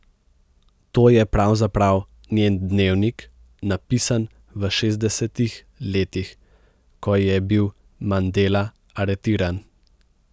To je pravzaprav njen dnevnik, napisan v šestdesetih letih, ko je bil Mandela aretiran.